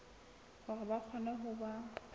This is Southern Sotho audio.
hore ba kgone ho ba